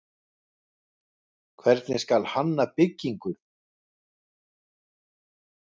hvernig skal hanna byggingu